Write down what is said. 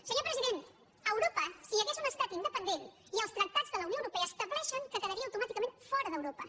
senyor president a europa si hi hagués un estat independent els tractats de la unió europea estableixen que quedaria automàticament fora d’europa